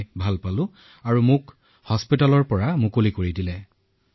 আৰু ১৪ দিনৰ পিছত ঠিক হোৱাৰ পিছত মোক যাবলৈ দিয়া হল